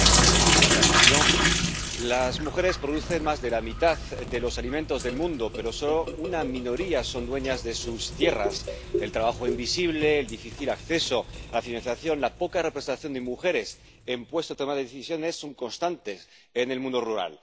Señora presidenta, las mujeres producen más de la mitad de los alimentos del mundo, pero solo una minoría son dueñas de sus tierras el trabajo invisible, el difícil acceso a la financiación, la poca representación de mujeres en puestos de toma de decisiones son constantes en el mundo rural.